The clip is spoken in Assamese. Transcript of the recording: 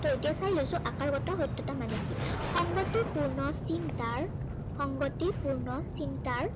ত এতিয়া চাই লৈছো আকাৰগত সত্য়তা মানে কি। সংগতিপূৰ্ণ চিন্তাৰ, সংগতিপূৰ্ণ চিন্তাৰ